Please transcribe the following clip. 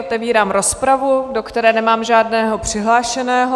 Otevírám rozpravu, do které nemám žádného přihlášeného.